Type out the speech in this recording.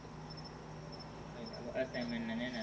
assignment ના એના